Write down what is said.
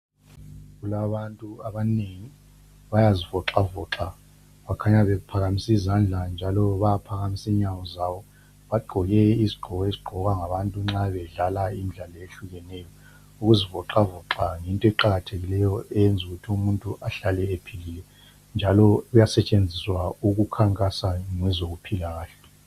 Kulabantu abanengi. Bayazivoxavoxa. Bakhanya bephakamise izandla njalo baphakamisa inyawo zabo. Bagqoke izigqoko ezigqokwa ngabantu nxa bedlala imidlalo eyehlukeneyo. Ukuzivoxavoxa yinto eqakathekileyo eyenza ukuthi umuntu ahlale ephilile, njalo kuyasetshenziswa ukukhankasa ngezokuphila kahle.